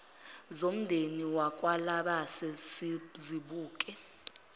zomndeni wakwalabase sizibuke